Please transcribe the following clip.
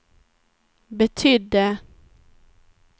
betydde